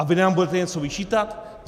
A vy nám budete něco vyčítat?